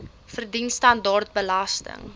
verdien standaard belasting